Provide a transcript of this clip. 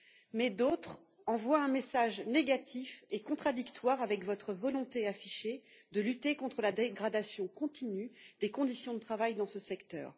Mais d'autres envoient un message négatif et contradictoire avec votre volonté affichée de lutter contre la dégradation continue des conditions de travail dans ce secteur.